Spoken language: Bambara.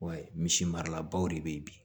Wa misi marala baw de bɛ yen bi